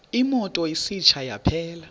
imoto isitsha yaphela